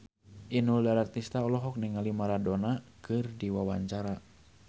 Inul Daratista olohok ningali Maradona keur diwawancara